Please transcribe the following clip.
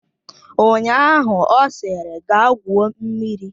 Ụnyaahụ ọ sịrị, gaa gwuo mmiri!